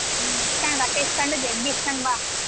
ಹ್ಮ್ ಇಸ್ಕೊಂಡು ರೊಕ್ಕ ಇಸ್ಕೊಂಡು ಜಗ್ಗಿ ಇಸ್ಕೊಂಡು ಬಾ.